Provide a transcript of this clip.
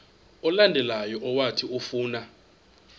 olandelayo owathi ufuna